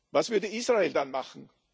Was würde Israel dann machen?